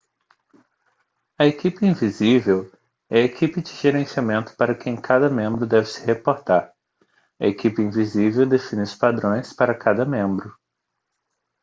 a equipe invisível é a equipe de gerenciamento para quem cada membro deve se reportar a equipe invisível define os padrões para cada membro